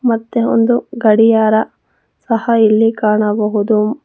ಮತ್ತೆ ಒಂದು ಗಡಿಯಾರ ಸಹ ಇಲ್ಲಿ ಕಾಣಬಹುದು.